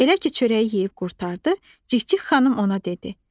Elə ki çörəyi yeyib qurtardı, Cikcik xanım ona dedi: